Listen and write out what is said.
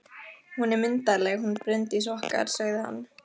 Hún er myndarleg, hún Bryndís okkar, sagði hann.